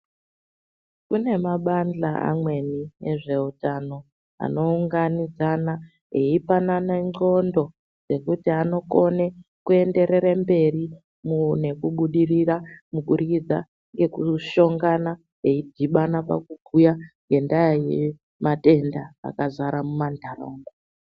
Kune mabandla amweni ezveutano anounganidzana eipanana ndlqondo dzekuti anokona kuenderere mberi nekubudirira kubudikidza ngekushongana eidhibana pakubhuya ngendaa yematenda akadzara munharaunda.